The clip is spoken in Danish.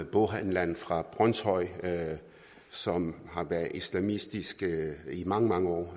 boghandleren fra brønshøj som har været islamistisk i mange mange år